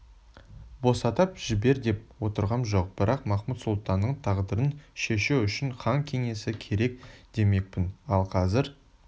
босатып жібер деп отырғам жоқ бірақ махмуд-сұлтанның тағдырын шешу үшін хан кеңесі керек демекпін ал қазір